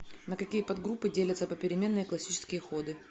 на какие подгруппы делятся попеременные классические ходы